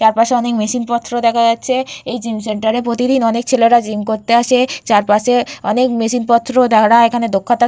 চারপাশে অনেক মেশিন পত্র দেখা যাচ্ছে এই জিম সেন্টার -এ অনেক ছেলেরা প্রতিদিন জিম করতে আসে চারপাশে অনেক মেশিন পত্র ধরা এখানে দক্ষতা--